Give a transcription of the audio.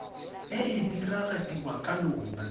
e e diragadiwa ka lona